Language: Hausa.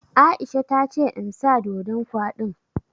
Aisha ta ce in sa ɗoɗon kwaɗin